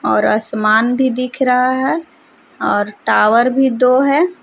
और आसमान भी दिख रहा है और टावर भी दो है।